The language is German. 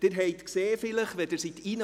Sie haben es bemerkt, als Sie hereinkamen: